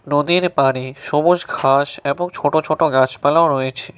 নদীর পাড়ে সবুজ ঘাস এবং ছোট ছোট গাছপালাও রয়েছে।